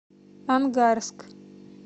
ангарск